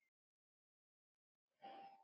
Þið munuð skilja það seinna.